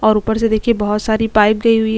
और ऊपर से देखिये बहोत सारी पाइप गयी हुई है।